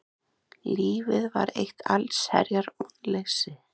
Lífið var eitt allsherjar vonleysi.